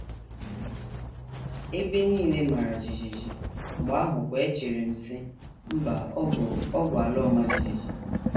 Ebe nile mara jijiji, mgbe ahụkwa echere m, sị: ‘ Mba, ọ bụ, ọ bụ ala ọma jijiji. ’